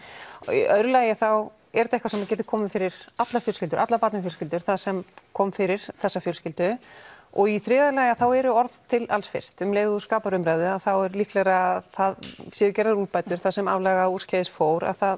í öðru lagi þá er þetta eitthvað sem getur komið fyrir allar fjölskyldur allar barnafjölskyldur það sem kom fyrir þessa fjölskyldu og í þriðja lagi þá eru orð til alls fyrst ef þú skapar umræðu þá er líklegra að það séu gerðar úrbætur það sem aflaga og úrskeiðis fór að það